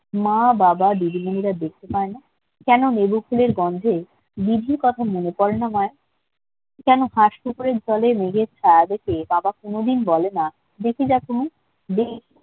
মা-বাবা দিদিমণিরা দেখতে পায় না নেম ফুলের গন্ধে দিদির কথায় মনে পড়ে না মায়ের কেন হাঁস পুকুরের জলে মেঘের ছায়া দেখে বাবা বলে না দেখে যা কুমু